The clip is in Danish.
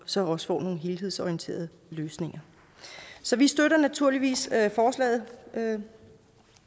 så også får nogle helhedsorienterede løsninger så vi støtter naturligvis forslaget